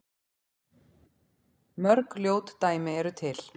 Mörg ljót dæmi eru til.